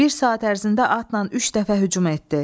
Bir saat ərzində atnan üç dəfə hücum etdi.